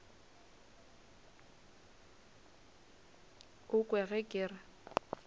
o kwe ge ke re